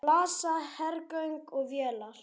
Við blasa hergögn og vélar.